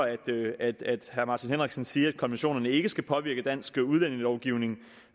herre martin henriksen sige at konventioner ikke skal påvirke dansk udlændingelovgivning